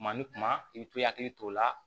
Kuma ni kuma i bɛ to hakili t'o la